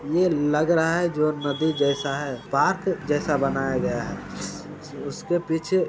ये लग रहा है जो नदी जैसा है पार्क जैसा बनाया गया है उसके पीछे--